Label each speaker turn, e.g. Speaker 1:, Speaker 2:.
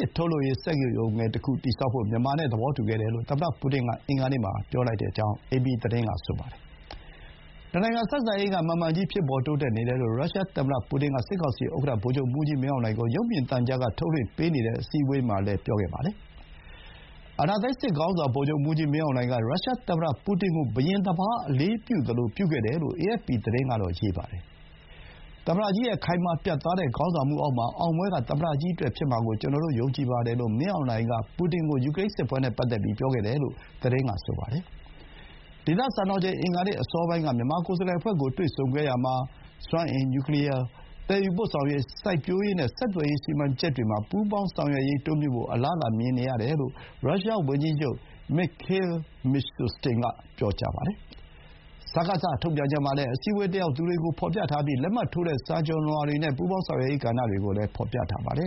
Speaker 1: စ်ထုတ်လုပ်ရေး စက်ရုံငယ်တခု တည်ဆောက်ဖို့ မြန်မာနဲ့ သဘောတူခဲ့တယ်လို့ သမ္မတပူတင်က အင်္ဂါနေ့မှာ ပြောကြောင်း အေပီသတင်းက ပြောပါတယ်။ နှစ်နိုင်ငံဆက်ဆံရေးက မှန်မှန်ကြီး ဖြစ်ပေါ်တိုးတက်နေတယ်လို့ ရုရှားသမ္မတ ပူတင်က စစ်ကောင်စီ ဥက္ကဋ္ဌ ဗိုလ်ချုပ်မှူးကြီးမင်းအောင်လှိုင်ကို ရုပ်မြင်သံကြားက ထုတ်လွှင့်ပေးနေတဲ့ အစည်းအဝေးမှာလည်း ပြောခဲ့ပါတယ်။ အာဏာသိမ်း စစ်ခေါင်းဆောင် ဗိုလ်ချုပ်မှူးကြီးမင်းအောင်လှိုင်က ရုရှားသမ္မတ ပူတင်ကို ဘုရင်တပါး အလေးပြုသလို ပြုခဲ့တယ်လို့ အေအက်ဖ်ပီသတင်းက ရေးပါတယ်။ "သမ္မတကြီးရဲ့ ခိုင်မာ ပြတ်သားတဲ့ ခေါင်းဆောင်မှုအောက်မှာ အောင်ပွဲက သမ္မတကြီးအတွက် ဖြစ်မှာကို ကျနော် ယုံကြည်ပါတယ်" လို့ မင်းအောင်လှိုင်က ပူတင်ကို ပြောခဲ့တယ်လို့ သတင်းက ဆိုပါတယ်။ ဒေသစံတော်ချိန် အင်္ဂါနေ့ အစောပိုင်းက မြန်မာကိုယ်စားလှယ်အဖွဲ့ကို တွေ့ဆုံခဲ့ရာမှာ စွမ်းအင်၊ နျူးကလီးယား၊ သယ်ယူပို့ဆောင်ရေး၊ စိုက်ပျိုးရေးနဲ့ ဆက်သွယ်ရေး စီမံချက်တွေမှာ ပူးပေါင်းဆောင်ရွက်ရေး တိုးမြှင့်ဖို့ အလားအလာမြင်ရတယ်လို့ ရုရှားဝန်ကြီးချုပ် Mikhail Mishustin က ပြောပါတယ်။ စကစ ထုတ်ပြန်ချက်မှာလည်း အစည်းအဝေး တက်ရောက်သူတွေကို ဖော်ပြထားပြီး လက်မှတ်ထိုးတဲ့ စာချွန်လွှာတွေနဲ့ ပူပေါင်းဆောင်ရွက်ရေး ကဏ္ဍတွေကို ဖော်ပြထားပါတယ